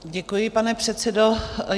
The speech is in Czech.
Děkuji, pane předsedo.